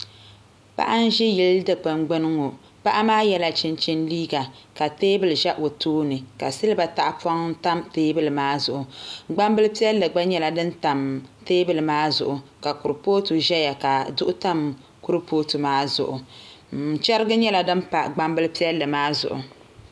Paɣa n ʒi yili Dikpuni gbuni ŋo paɣa maa yɛla chinchini liiga ka teebuli ʒɛ o tooni ka silba tahapoŋ tam teebuli maa zuɣu gbambili piɛlli gba nyɛla din tam teebuli maa zuɣu ka kuripooti ʒɛya ka duɣu tam kuripooti maa zuɣu chɛrihi nyɛla din pa gbambili piɛlli maa zuɣu